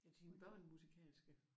Er dine børn musikalske?